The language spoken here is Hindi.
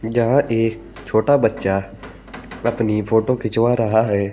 जहां एक छोटा बच्चा अपनी फोटो खिंचवा रहा है।